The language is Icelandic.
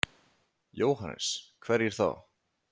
Jóhannes: Hverjir þá?